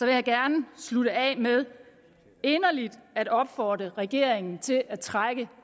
jeg gerne slutte af med inderligt at opfordre regeringen til at trække